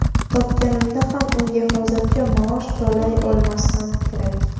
Topganimda ham unga hozircha maosh to‘lay olmasam kerak.